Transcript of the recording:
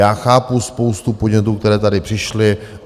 Já chápu spoustu podnětů, které tady přišly.